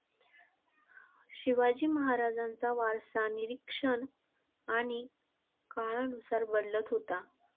शिवाजी महाराजांचा वारसा निरीक्षण आणि काळानुसार बदलत होता.